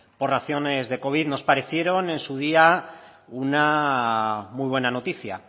por raciones de covid nos parecieron en su día una muy buena noticia